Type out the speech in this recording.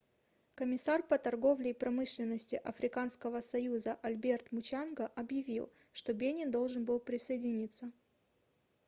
комиссар по торговле и промышленности африканского союза альберт мучанга объявил что бенин должен был присоединиться